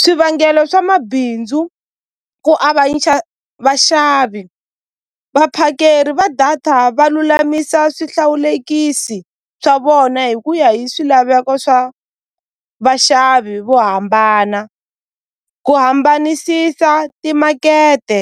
Swivangelo swa mabindzu ku avanyisa vaxavi vaphakeri va data va lulamisa swihlawulekisi swa vona hi ku ya hi swilaveko swa vaxavi vo hambana ku hambanisisa timakete